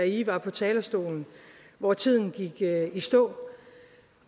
i var på talerstolen hvor tiden gik i stå